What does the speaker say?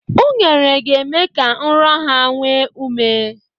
Unere, ga-eme ka nrọ ha nwee ume.